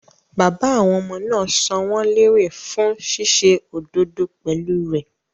Bàbá àwọn ọmọ náà san wọ́n lérè fún ṣíṣe òdodo pẹ̀lú rẹ̀.